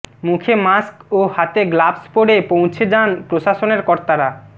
মুখে মাস্ক ও হাতে গ্লাভস পরে পৌঁছে যান প্রশাসনের কর্তারা